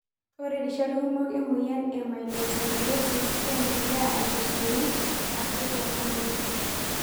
Ore rishat kumok ore emoyian e myelofibrosis kendelea ainosunye akutorono.